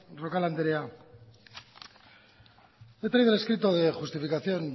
roncal andrea le he traído el escrito de justificación